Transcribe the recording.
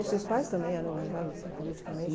Os seus pais também eram engajados, assim, politicamente?